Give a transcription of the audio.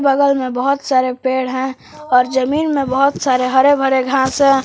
बगल में बहुत सारे पेड़ हैं और जमीन में बहुत सारे हरे भरे घास हैं।